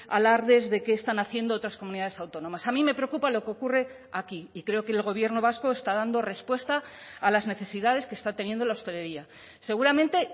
alardes de qué están haciendo otras comunidades autónomas a mí me preocupa lo que ocurre aquí y creo que el gobierno vasco está dando respuesta a las necesidades que está teniendo la hostelería seguramente